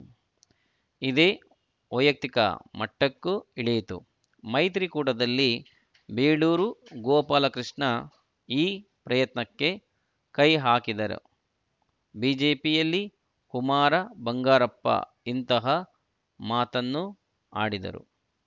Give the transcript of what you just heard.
ಇದು ವೈಯಕ್ತಿಕ ಮಟ್ಟಕ್ಕೂ ಇಳಿಯಿತು ಮೈತ್ರಿಕೂಟದಲ್ಲಿ ಬೇಳೂರು ಗೋಪಾಲಕೃಷ್ಣ ಈ ಪ್ರಯತ್ನಕ್ಕೆ ಕೈ ಹಾಕಿದರೆ ಬಿಜೆಪಿಯಲ್ಲಿ ಕುಮಾರ ಬಂಗಾರಪ್ಪ ಇಂತಹ ಮಾತನ್ನು ಆಡಿದರು